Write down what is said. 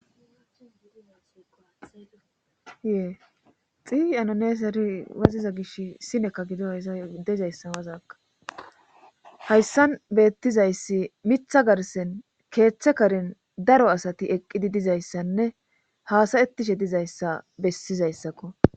yexiiyi anoneeseri waziza gish sinekka gido haya dezayssan wazaka hayssan beettizayssi mitha garsen keeththe karin daro asati eqqidi dizayssanne haasayetishe dizayssa bessizayssakko